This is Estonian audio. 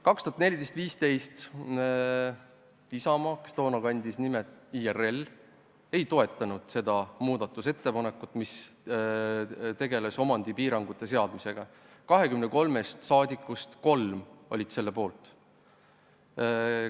2014–2015 Isamaa, kes toona kandis nime IRL, ei toetanud muudatusettepanekut, mis tegeles omandipiirangute seadmisega: 23 saadikust olid selle poolt kolm.